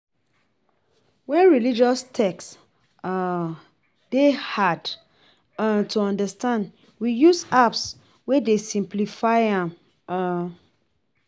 When religious text um dey hard um to understand we use apps wey dey simplify am um